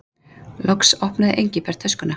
Loks opnaði Engilbert töskuna.